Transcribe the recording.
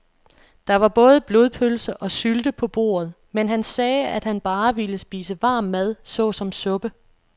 Der var både blodpølse og sylte på bordet, men han sagde, at han bare ville spise varm mad såsom suppe.